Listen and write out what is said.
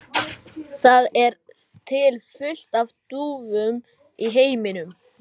Það er til fullt af dúfum í heiminum.